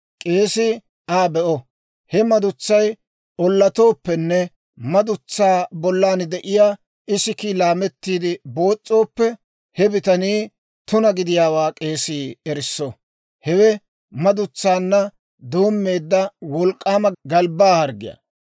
K'eesii Aa be'o; he madutsay ollatooppenne madutsaa bollan de'iyaa isikiikka laamettiide boos's'ooppe, he bitanii tuna gidiyaawaa k'eesii erisso. Hewe madutsaanna doommeedda wolk'k'aama galbbaa harggiyaa.